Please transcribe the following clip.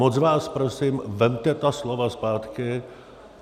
Moc vás prosím, vezměte ta slova zpátky.